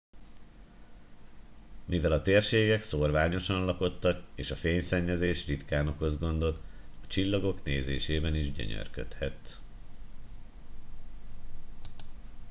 mivel a térségek szórványosan lakottak és a fényszennyezés ritkán okoz gondot a csillagok nézésében is gyönyörködhetsz